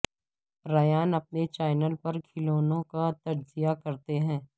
ریان اپنے چینل پر کھلونوں کا تجزیہ کرتے ہیں